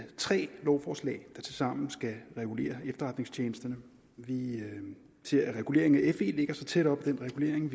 tre lovforslag der tilsammen skal regulere efterretningstjenesterne vi ser at reguleringen af fe ligger tæt op ad reguleringen